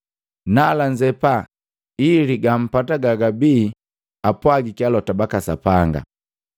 Nala nzepa, ili gampata gagabi apwagiki alota baka Sapanga: